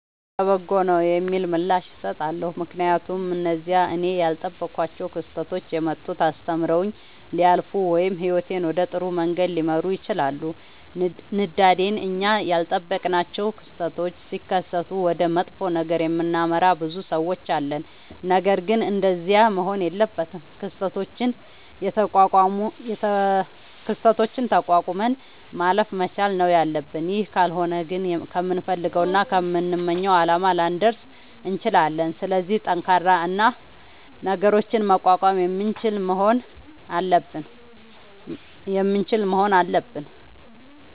ይሁን ለበጎ ነዉ የሚል ምላሽ እሠጣለሁ። ምክንያቱም እነዚያ እኔ ያልጠበኳቸዉ ክስተቶች የመጡት አስተምረዉኝ ሊያልፉ ወይም ህይወቴን ወደ ጥሩ መንገድ ሊመሩት ይችላሉ። ንዳንዴ እኛ ያልጠበቅናቸዉ ክስተቶች ሢከሠቱ ወደ መጥፎ ነገር የምናመራ ብዙ ሠዎች አለን። ነገርግን እንደዚያ መሆን የለበትም። ክስተቶችን ተቋቁመን ማለፍ መቻል ነዉ ያለብን ይህ ካልሆነ ግን ከምንፈልገዉና ከምንመኘዉ አላማ ላንደርስ እንችላለን። ስለዚህ ጠንካራ እና ነገሮችን መቋቋም የምንችል መሆን አለብን።